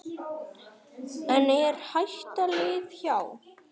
En er hættan liðin hjá?